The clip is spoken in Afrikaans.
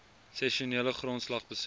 sessionele grondslag besoek